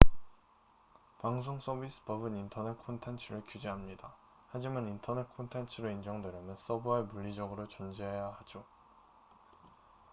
방송 서비스 법은 인터넷 콘텐츠를 규제합니다 하지만 인터넷 콘텐츠로 인정되려면 서버에 물리적으로 존재해야 하죠